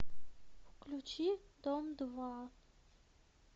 включи дом два